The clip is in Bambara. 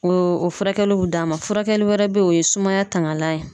O o furakɛliw bɛ d'a ma , furakɛli wɛrɛ be yen , o ye sumaya tangalan ye